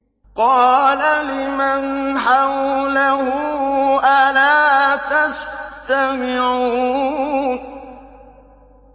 قَالَ لِمَنْ حَوْلَهُ أَلَا تَسْتَمِعُونَ